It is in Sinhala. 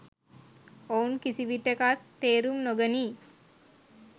ඔවුන් කිසිවිටෙකත් තේරුම් නොගනී.